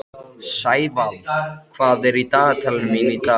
Sævald, hvað er í dagatalinu mínu í dag?